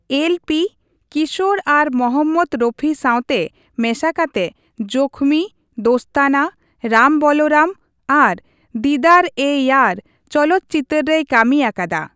LP, Kishore ᱟᱨ ᱢᱚᱦᱚᱢᱢᱚᱫ ᱨᱚᱯᱷᱤ ᱥᱟᱶᱛᱮ ᱢᱮᱥᱟ ᱠᱟᱛᱮ 'ᱡᱚᱠᱷᱢᱤ', 'ᱫᱳᱥᱛᱟᱱᱟ', 'ᱨᱟᱢ ᱵᱚᱞᱚᱨᱟᱢ' ᱟᱨ 'ᱫᱤᱫᱟᱨᱼᱮᱼᱭᱟᱨ' ᱪᱚᱞᱚᱛ ᱪᱤᱛᱟᱹᱨ ᱨᱮᱭ ᱠᱟᱹᱢᱤ ᱟᱠᱟᱫᱟ ᱾